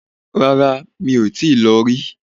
Rárá, mi ò tíì lọ rí